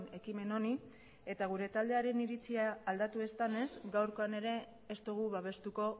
ekimen honi eta gure taldearen iritzia aldatu ez denez gaurkoan ere ez dugu babestuko